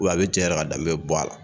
a bɛ cɛ yɛrɛ ka danbe bɔ a la.